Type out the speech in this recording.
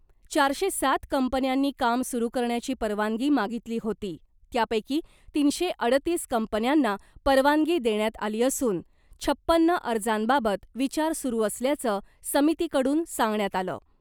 चारशे सात कंपन्यांनी काम सुरू करण्याची परवानगी मागितली होती , त्यापैकी तीनशे अडतीस कंपन्यांना परवानगी देण्यात आली असून , छप्पन अर्जांबाबत विचार सुरू असल्याचं , समितीकडून सांगण्यात आलं .